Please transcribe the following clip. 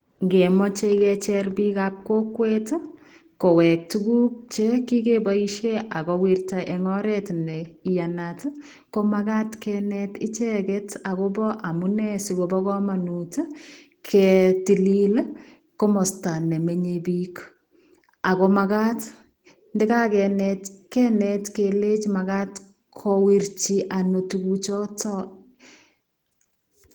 Ngemachei kecheeer biik ab kokweet ii ko week tuguuk che kikebaisheen ago wirtaa en oreet ne iyanaat ii ko magaat keneet ichegeet ii agobo kamanut amunei ketililit ii komostaa nemii biik ako magaat ndakakinrrt kenet kelechii magaat kowirchi ano tuguuk chotoon